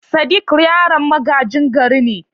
Sadik yaron magajin gari ne.